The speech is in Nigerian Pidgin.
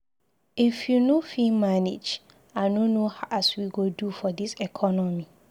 If you no fit manage, I no know as we go do for dis economy.